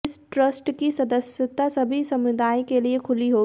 इस ट्रस्ट की सदस्यता सबी समुदायों के लिए खुली होगी